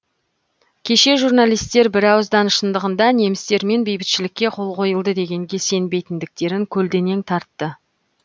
кеше журналистер бірауыздан шындығында немістермен бейбітшілікке қол қойылды дегенге сенбейтіндіктерін көлденең тартты